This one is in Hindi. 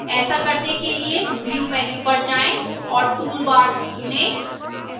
ऐसा करने के लिए view menu पर जाएं और toolbars चुनें